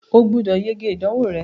o gbúdọ̀ yege ìdánwò rẹ.